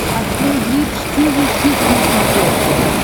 открой бридж тиви хитс на смотрешке